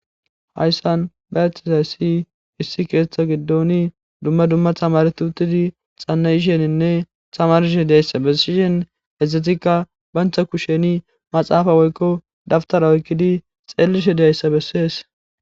Hayssan ba ethtizayssi issi keeththa giddoni dumma dumma thamaretutidi xanna isheninne samarshe deyssa bessishen ezdzetikka bantha kusheni maxaafa woykko dabtara oykkidi xeellishe deayssa bessees.